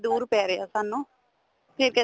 ਦੂਰ ਪੈ ਰਿਹਾ ਸਾਨੂੰ ਫੇਰ ਕਹਿਨੇ